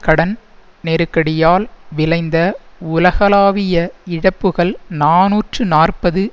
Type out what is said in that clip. கடன் நெருக்கடியால் விளைந்த உலகளாவிய இழப்புகள் நாநூற்று நாற்பது